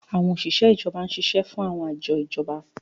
Àwọn òṣìṣẹ́ ìjọba ń ṣiṣẹ́ fún àwọn àjọ ìjọba.